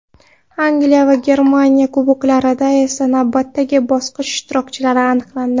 Angliya va Germaniya kuboklarida esa navbatdagi bosqich ishtirokchilari aniqlandi.